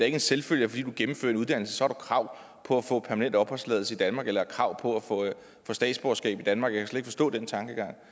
en selvfølge at fordi man gennemfører en uddannelse har man krav på at få permanent opholdstilladelse i danmark eller et krav på at få statsborgerskab i danmark og jeg kan forstå den tankegang